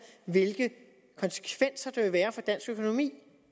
hvilke konsekvenser der vil være for dansk økonomi